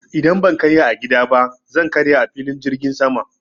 Idan ban karya a gida ba zan karya a filin jirgin sama.